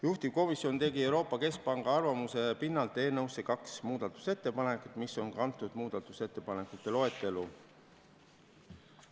Juhtivkomisjon tegi Euroopa Keskpanga arvamuse pinnalt eelnõu kohta kaks muudatusettepanekut, mis on kantud muudatusettepanekute loetellu.